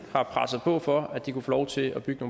har presset på for at de kunne få lov til at bygge